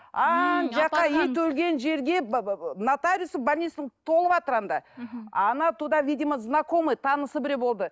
ана жаққа ит өлген жерге нотариусы толыватыр анда она туда видимо знакомый танысы біреуі болды